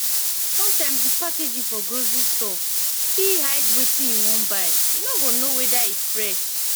sometimes di packaging for grocery stores fit hide wetin you wan buy you no go know weda e fresh